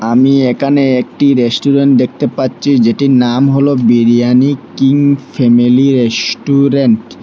আমি একানে একটি রেস্টুরেন্ট দেখতে পাচ্চি যেটির নাম হলো বিরিয়ানি কিং ফেমিলি রেস্টুরেন্ট ।